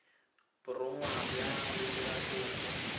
borongwa fa o dira kopo